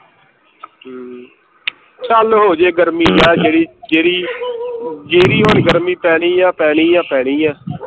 ਹਮ ਚੱਲ ਹੋਜੇ ਗਰਮੀ ਹਮ ਜੇੜੀ ਜੇੜੀ ਜੇੜੀ ਹੁਣ ਗਰਮੀ ਪੈਣੀ ਹੈ ਪੈਣੀ ਹੈ ਪੈਣੀ ਹੈ